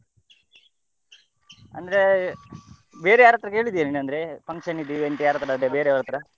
ಅಂದ್ರೆ ಬೇರೆ ಯಾರತ್ರ ಕೇಳಿದ್ಯಾ ನೀನ್ ಅಂದ್ರೆ function ದ್ದು event ಯಾರತ್ರಾದ್ರು ಬೇರೆಯವರತ್ರ .